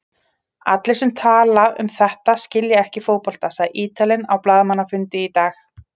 Allir sem tala um þetta skilja ekki fótbolta, sagði Ítalinn á blaðamannafundi í dag.